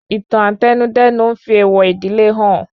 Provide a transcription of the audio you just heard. Ìtàn Àtẹnudẹ́nu n fi èèwọ̀ ìdílé hàn